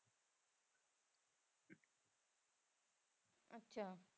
ਅੱਛਾ।